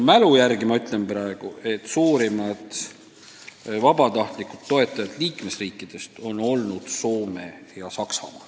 Mälu järgi ütlen praegu, et suurimad vabatahtlikud toetajad on olnud Soome ja Saksamaa.